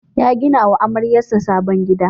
Ya gina wa amaryarsa sabon gida.